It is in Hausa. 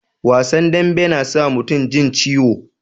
Wasan dambe na sa mutum jin ciwo